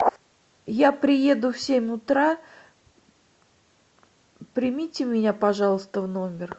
я приеду в семь утра примите меня пожалуйста в номер